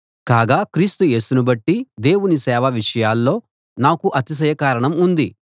కాగా క్రీస్తు యేసును బట్టి దేవుని సేవ విషయాల్లో నాకు అతిశయ కారణం ఉంది